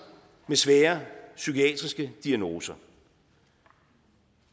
med svære psykiatriske diagnoser